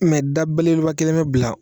da belebeleba kelen me bila.